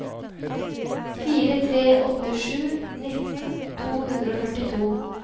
fire tre åtte sju nitten to hundre og førtito